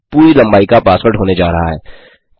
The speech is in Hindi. पासवर्ड पूरी लम्बाई का पासवर्ड होने जा रहा है